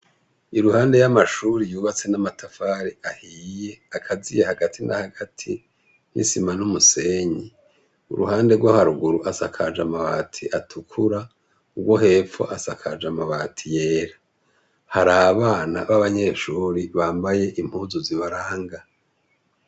Iruhande y'amashure yubatse n'amatafari ahiye, akaziye hagati na hagati n'isima n'umuseyi. Uruhande rwo haruguru hasakaye amabati atukura, urwo hepfo hasakaye amabati yera. Hari abana b'abanyeshure bambaye impuzu z'ibaranga.